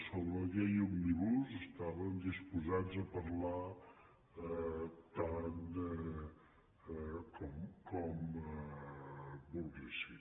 sobre la llei òmnibus estàvem disposats a parlar tant com volguessin